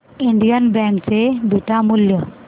Indian bank चे beta मूल्य